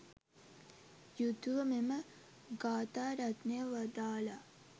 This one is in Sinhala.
යුතුව මෙම ගාථාරත්නය වදාළා.